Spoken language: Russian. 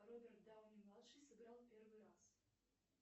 роберт дауни младший сыграл первый раз